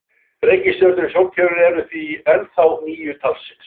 Reikistjörnurnar í sólkerfinu eru því ennþá níu talsins.